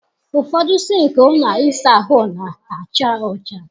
Ụfọdụ sịnkị ụlọ ịsa ahụ na-acha ọcha.